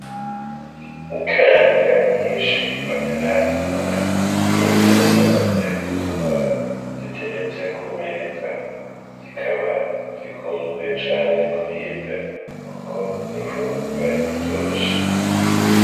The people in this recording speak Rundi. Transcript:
Ikaranga nyishi bataratonora n'izo bamaze gutonora ziteretse ku meza zikaba zikunzwe cane kuribwa kuko n'imfungurwa iryoshe.